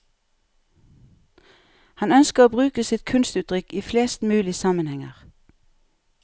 Han ønsker å bruke sitt kunstuttrykk i flest mulig sammenhenger.